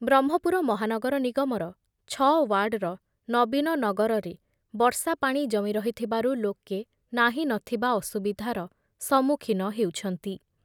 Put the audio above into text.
ବ୍ରହ୍ମପୁର ମହାନଗର ନିଗମର ଛଅ ଓ୍ୱାର୍ଡର ନବୀନ ନଗରରେ ବର୍ଷା ପାଣି ଜମି ରହିଥିବାରୁ ଲୋକେ ନାହିଁ ନ ଥିବା ଅସୁବିଧାର ସମ୍ମୁଖୀନ ହେଉଛନ୍ତି ।